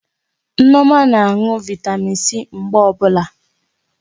Nneoma na anụ Vị́tamị́n C mgbe ọbụla.